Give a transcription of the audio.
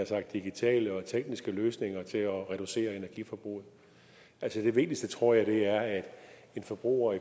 sagt digitale og tekniske løsninger til at reducere energiforbruget altså det vigtigste tror jeg er at en forbruger